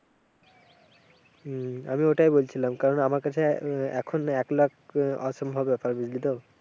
হম আমি ওটাই বলছিলাম, কারণ আমার কাছে এখন এক লাখ অসম্ভব ব্যাপার বুঝলি তো?